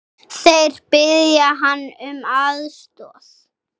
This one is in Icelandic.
Þeir biðja hann um aðstoð.